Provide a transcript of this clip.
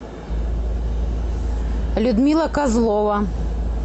людмила козлова